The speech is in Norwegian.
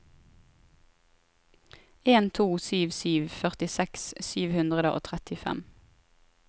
en to sju sju førtiseks sju hundre og trettifem